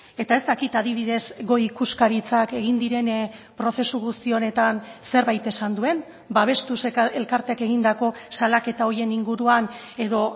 eta ez dakit adibidez goi ikuskaritzak egin diren prozesu guzti honetan zerbait esan duen babestuz elkarteak egindako salaketa horien inguruan edo